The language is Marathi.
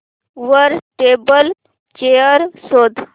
वर टेबल चेयर शोध